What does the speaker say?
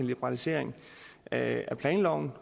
liberalisering af planloven